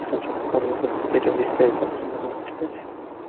ছাড়ি পরেরবার যেটা বিস্তারিত আলোচনা করব ঠিক আছে